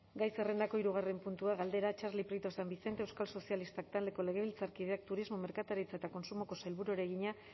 gai zerrendako hirugarren puntua galdera txarli prieto san vicente euskal sozialistak taldeko legebiltzarkideak turismo merkataritza eta kontsumoko sailburuari egina